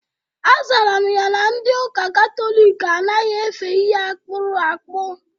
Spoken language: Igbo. Azara m ya na ndi ụka katọlik anaghị efe ihe akpụrụ akpụ.